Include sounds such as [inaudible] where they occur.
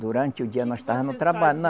Durante o dia nós estava no trabalho [unintelligible]